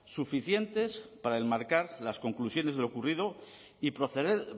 suficientes para enmarcar las conclusiones de lo ocurrido y proceder